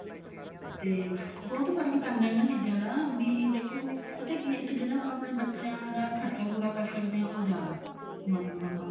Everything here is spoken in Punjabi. ਤੇ ਬਹੁਤ ਫਰਕ ਪੈਂਦਾ ਇਹਨਾ ਚੀਜ਼ਾਂ ਦਾ ਵੀ ਦੇਖੋ ਪਤਾ ਕੀ ਹੈ ਇੱਕ ਜਿਹੜਾ ਆਪਾਂ ਆਪਣੇ ਬੱਚਿਆਂ ਦਾ ਖਰਚਾ ਪੂਰਾ ਕਰ ਸਕਦੇ ਹਾਂ ਉਹ ਜਿਆਦਾ ਮਤਲਬ ਆਪਾਂ